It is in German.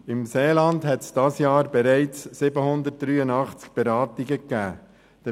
Im Seeland hat es dieses Jahr bereits 783 Beratungen gegeben.